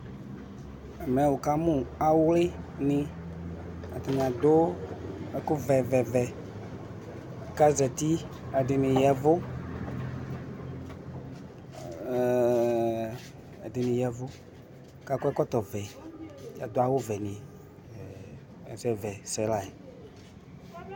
Ɛmɛ uka mu ɔwlini atani adu ɛku vɛ vɛ vɛ kazati ɛdini yavu kakɔ ɛkɔtɔ vɛ ɛdini adu awu vɛni ɛsɛvɛsɛ la